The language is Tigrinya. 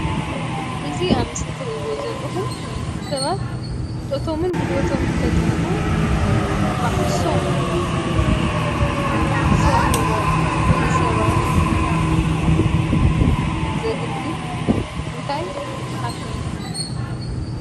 እዚ አብ ምስሊ እትሪእዎ ዘለኩም ሰባት ፍልጠቶምን ጉልበቶምን ተጠቂሞም ባዕርሶም ዝሰርሕዎ ንሰባት ዘገልግል እንታይ ይባሃል?